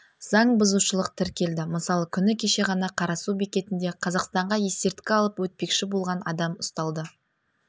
заңбұзушылық тіркелді мысалы күні кеше ғана қарасу бекетінде қазақстанға есірткі алып өтпекші болған адам ұсталды